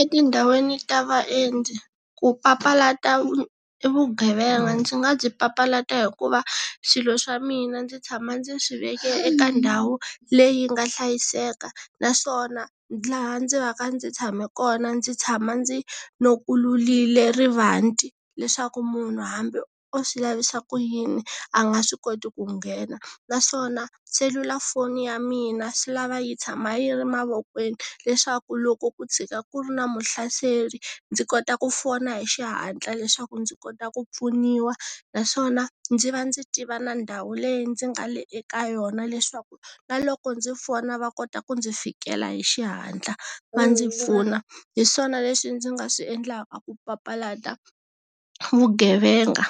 Etindhawini ta vaendzi, ku papalata vugevenga ndzi nga byi papalata hikuva swilo swa mina ndzi tshama ndzi swi veke eka ndhawu, leyi nga hlayiseka, naswona laha ndzi va ndzi tshame kona ndzi tshama ndzi, lokulurile rivanti. Leswaku munhu hambi o swi lavisa ku yini, a nga swi koti ku nghena. Naswona, selulafoni ya mina swi lava yi tshama yi ri mavokweni, leswaku loko ku tshika ku ri na muhlaseri, ndzi kota ku fona hi xihatla leswaku ndzi kota ku pfuniwa, naswona, ndzi va ndzi tiva na ndhawu leyi ndzi nga le eka yona leswaku, na loko ndzi fona va kota ku ndzi fikela hi xihatla, va ndzi pfuna. Hi swona leswi ndzi nga swi endlaka a ku papalata, vugevenga